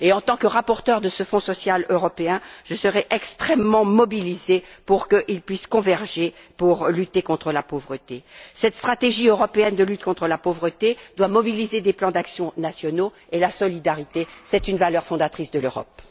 En tant que rapporteure de ce Fonds social européen, je serai extrêmement mobilisée pour qu'il puisse converger dans la lutte contre la pauvreté. Cette stratégie européenne de lutte contre la pauvreté doit mobiliser des plans d'action nationaux et la solidarité, qui est une valeur fondatrice de l'Europe.